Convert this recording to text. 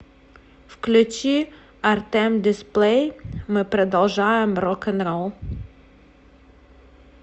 включи артэм дисплэй мы продолжаем рок н ролл